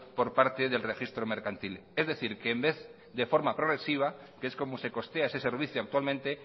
por parte del registro mercantil es decir que en vez de forma progresiva que es como se costea ese servicio actualmente